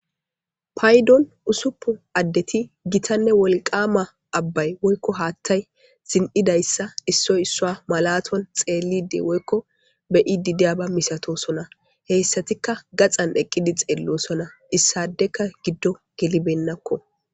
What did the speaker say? Payidoni ussupun adeti gitane woliqama hathayi zindhidaysa issoyi isuwa malaton woyiko be'idi dewuba malatosona hesatika gaxani eqidi xelisona isadeka gido gelibena